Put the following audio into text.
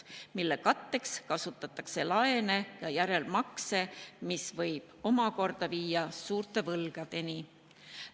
Kulutuste katteks kasutatakse laene ja järelmakse, mis võib viia suurte võlgadeni.